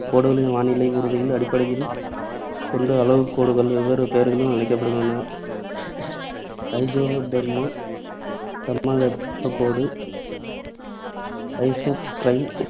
இக்கோடுகளின் வானிலைக் கூறுகையில் அடிப்படையில் கொண்டு அளவுக்கோடுகள் வெவ்வேறு பெயர்களில் அழைக்கப்படுகின்றன. ஐசோதெர்ம், சமவெப்பக் கோடு, ஐசோக்ரைம்,